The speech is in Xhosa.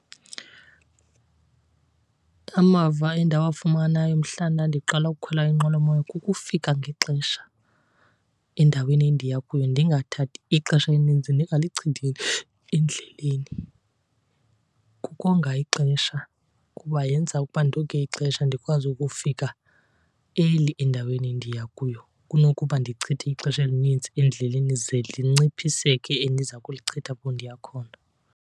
Amava endawafumanayo mhla ndandiqala ukukhwela inqwelomoya kukufika ngexesha endaweni endiya kuyo, ndingathathi ixesha elininzi ndingalichithi endleleni. Kukonga ixesha kuba yenza ukuba ndonge ixesha ndikwazi ukufika early endaweni endiya kuyo kunokuba ndichithe ixesha elinintsi endleleni ze linciphiseke endiza kulichitha apho ndiya khona.